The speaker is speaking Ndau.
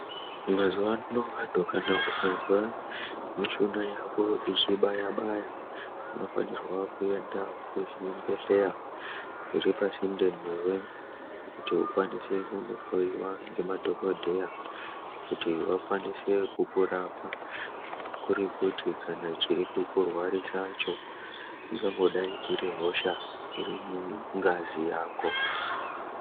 Mazuwa ano kana ukazwa mishuna yako yechibaya baya unofanirwe kuende kuzvibhedhlera zviri pasinde newe kuti akwanise kundhloyiwa ngemadhokodheya kuti vakwanise kukurapa kuri kuti kana chiri kukurwarisacho ingangodai iri hosha iri mungazi yako.